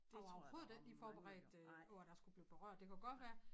Jeg var overhovedet ikke lige forberedt øh på at jeg skulle blive berørt det kan godt være